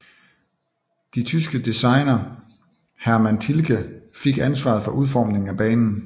De tyske designer Hermann Tilke fik ansvaret for udformningen af banen